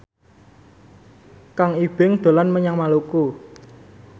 Kang Ibing dolan menyang Maluku